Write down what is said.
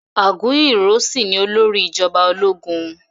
Aguiyi Ironsi ni olórí ìjọba ológun